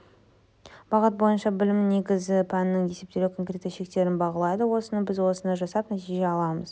бағыт бойынша білімнің негізі пәннің есептелуі конкретті шектерін бағалайды осыны біз осыны жасап нәтижені аламыз